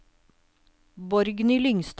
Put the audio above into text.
Borgny Lyngstad